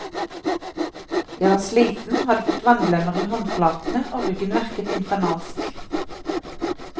Jeg var sliten, hadde fått vannblemmer i håndflatene og ryggen verket infernalsk.